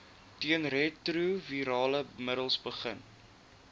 teenretrovirale middels begin